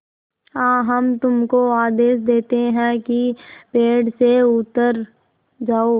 हाँ हम तुमको आदेश देते हैं कि पेड़ से उतर जाओ